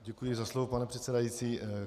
Děkuji za slovo pane předsedající.